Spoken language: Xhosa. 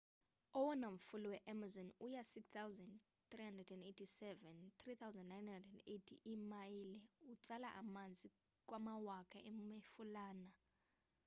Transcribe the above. owona mfula we-amazon u-6,387 3,980 iimayile. utsala amanzi kwamawaka emifulana